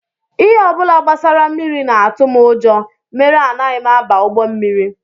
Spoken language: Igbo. Ihe ọ bụla gbasara mmiri na-atụ m ụjọ mere anaghị m aba ụgbọ mmiri